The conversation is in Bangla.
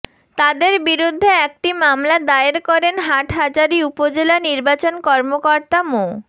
তাদের বিরুদ্ধে একটি মামলা দায়ের করেন হাটহাজারী উপজেলা নির্বাচন কর্মকর্তা মো